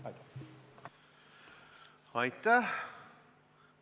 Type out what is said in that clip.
Aitäh!